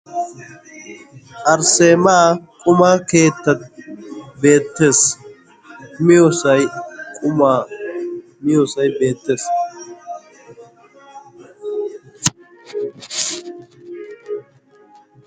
arsseema quma keetta beettees. miyoosay qumaa miyoosay beettees.